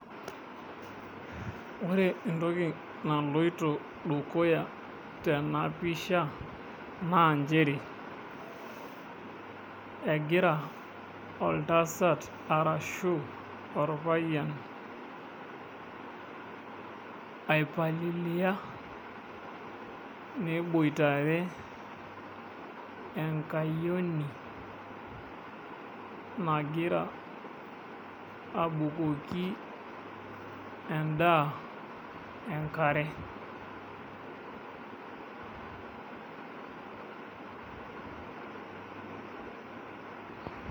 Ore entoki naloito dukuya tenapisha na chere egira oltasat arashu orpayian aipalilia neboitare enkayioni nagira abukoki endaa enkare.